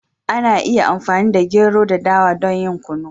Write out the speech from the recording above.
Ana iya amfani da gero da dawa don yin Kunu.